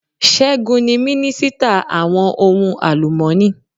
Ṣẹ́gun ni minisita àwọn ohun àlùmọ́ni.